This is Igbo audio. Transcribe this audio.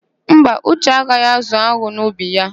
Mba, Uche agaghị ázụ̀ an̄ụ n'ubi ya.